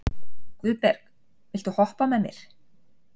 Guðberg, viltu hoppa með mér?